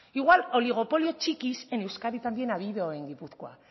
igual oligopolios txikis en euskadi también ha habido en gipuzkoa